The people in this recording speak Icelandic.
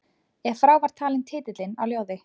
Ef frá var talinn titillinn á ljóði